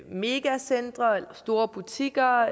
megacentre store butikker